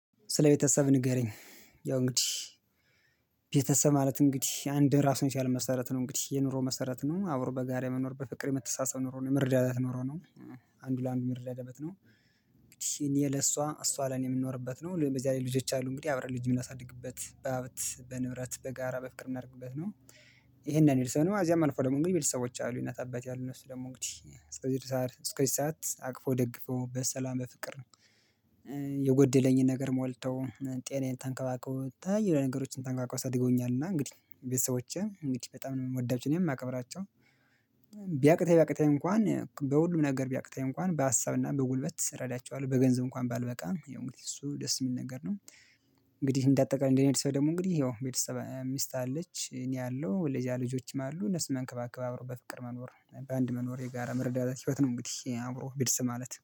ስለ ቤተሰብ ንገረኝ? ያው እንግዲህ ቤተሰብ ማለት እንግዲህ አንድ ራሱን የቻለ መሰረት ነው እንግዲህ የኑሮ መሰረት ነው አብሮ በጋራ የመኖር በፍቅር የመተሰሳሰብ ኑሮ የመረዳዳት ኑሮ ነው። አንዱ ለአንዱ የሚረዳዳበት ያለበት ነው። እንግዲህ እኔ ለእሷ እሷ ለኔ የምንኖርበት ነው በዚህ ላይ ልጆች አሉ እንግዲህ አብረን ልጅ የምናሳድግበት በሀብት በንብረት በጋራ በፍቅር የምድግበት ነው። ይሄን ነው እዚያም አልፎ ደግሞ የሚል ሰዎች አሉ እናት አባት ያሉ ነው እሱ ደግሞ እንግዲህ ጽድቅ ሳር እስከዚህ ሰዓት አቅፎ ደግፎ በሰላም በፍቅር ነው። የጎደለኝን ነገር ሞልተው ጤናዬን ተንከባክበው ከተለያዩ ነገሮችን ተጠንቅቀው አሳድገውኛልና እንግዲህ ቤተሰቦቼ እንግዲህ በጣም ነው የምወዳቸው። እናም የማከብራቸው። ቢያቅተኝ ቢያቅተኝ እንኳን በሁሉም ነገር ቢያቅተኝ እንኳን በሀሳብና በጉልበት እረዳችዋለሁ በገንዘብ እንኳን ባልበቃም ያው እንግዲህ እሱ ደስ የሚል ነገር ነው። እንግዲህ እንደ አጠቃላይ እንደኔ አይነት ሰው ደግሞ እንግዲህ ያው ሚስት አለች እኔ አለው ሌላ ልጆችም አሉ እነሱ መንከባከብ አብረው በፍቅር መኖር በአንድ መኖር የጋራ መረዳዳት ህይወት ነው። እንግዲህ አብሮ ቤተሰብ ማለት